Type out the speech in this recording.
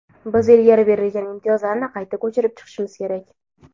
biz ilgari berilgan imtiyozlarni qayta ko‘chirib chiqishimiz kerak.